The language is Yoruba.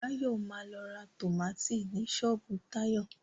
Báyọ̀ ma lọ ra tómátì ni ṣọ́ọ̀bú Táyọ̀